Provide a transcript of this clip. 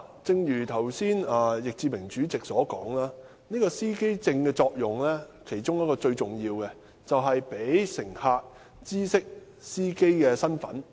正如易志明議員剛才所說，司機證其中一個重要作用，就是讓乘客知悉司機的身份。